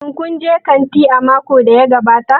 Shin kun je kanti a makon da ya gabata?